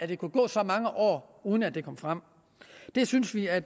der kunne gå så mange år uden at det kom frem det synes vi at